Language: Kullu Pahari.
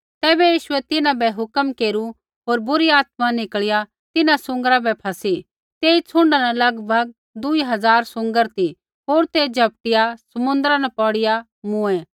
तैबै यीशुऐ तिन्हां बै हुक्म केरू होर बुरी आत्मा निकल़िया तिन्हां सूँगरा बै फसी तेई छ़ुण्डा न लगभग दूई हज़ार सूँगर ती होर ते झपटिया समुन्द्रा न पौड़िया मूँऐ